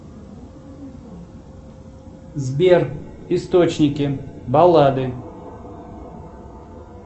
сбер источники баллады